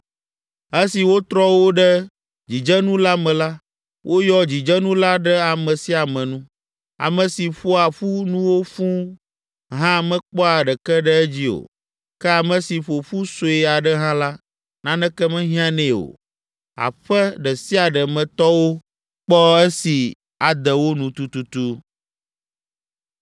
Esi wotrɔ wo ɖe dzidzenu la me la, woyɔ dzidzenu la ɖe ame sia ame nu. Ame si ƒoa ƒu nuwo fũu hã mekpɔa ɖeke ɖe edzi o, ke ame si ƒo ƒu sue aɖe hã la, naneke mehiãnɛ o! Aƒe ɖe sia ɖe me tɔwo kpɔ esi ade wo nu tututu.